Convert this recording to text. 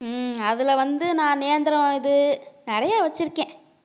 ஹம் அதுல வந்து நான் நேந்திரம் இது நிறைய வச்சிருக்கேன்